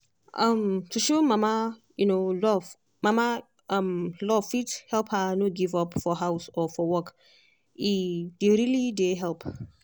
um to show mama um love mama um love fit help her no give up for house or for work e um really dey help.